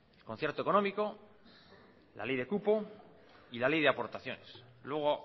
concierto económico la ley de cupo y la ley de aportaciones luego